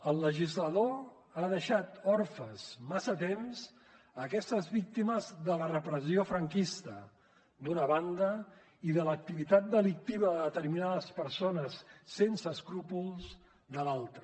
el legislador ha deixat orfes massa temps aquestes víctimes de la repressió franquista d’una banda i de l’activitat delictiva de determinades persones sense escrúpols de l’altra